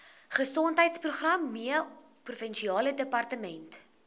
gesondheidsprogramme provinsiale departement